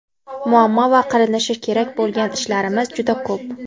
muammo va qilinishi kerak bo‘lgan ishlarimiz juda ko‘p.